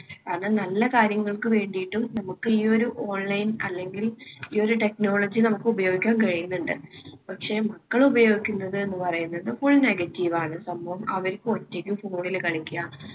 കാരണം നല്ല കാര്യങ്ങൾക്ക് വേണ്ടിയിട്ടും നമുക്ക് ഈ ഒരു online അല്ലെങ്കിൽ ഈയൊരു technology നമുക്ക് ഉപയോഗിക്കാൻ കഴിയുന്നുണ്ട്. പക്ഷേ മക്കൾ ഉപയോഗിക്കുന്നതെന്ന് പറയുന്നത് full negative ആണ് സംഭവം. അവർക്ക് ഒറ്റയ്ക്ക് phone ല് കളിക്കുക.